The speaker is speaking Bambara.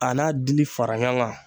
A n'a dili fara ɲɔgɔn kan.